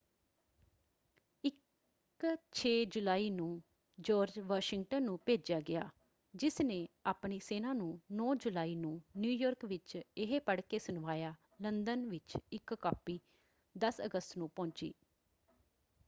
ਇੱਕ 6 ਜੁਲਾਈ ਨੂੰ ਜਾਰਜ ਵਾਸ਼ਿੰਗਟਨ ਨੂੰ ਭੇਜਿਆ ਗਿਆ ਜਿਸਨੇ ਆਪਣੀ ਸੈਨਾ ਨੂੰ 9 ਜੁਲਾਈ ਨੂੰ ਨਿਊ ਯਾਰਕ ਵਿੱਚ ਇਹ ਪੜ੍ਹ ਕੇ ਸੁਣਵਾਇਆ। ਲੰਦਨ ਵਿੱਚ ਇੱਕ ਕਾਪੀ 10 ਅਗਸਤ ਨੂੰ ਪਹੁੰਚੀ।